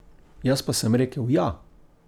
Jaz pa sem rekel: 'Ja!